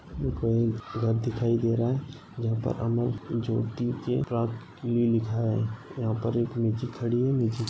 दिखाई घर दिखाई दे रहा है यहा पर हमे ज्योति के प्रा_ लि लिखा है। यहा पर एक निचे खडी हुइ निच --